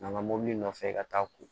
N'an ka mobili nɔfɛ ka taa ko